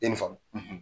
I ni faamu